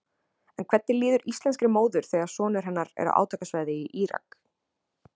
En hvernig líður íslenskri móður þegar sonur hennar er á átakasvæði í Írak?